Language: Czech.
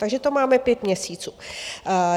Takže to máme pět měsíců.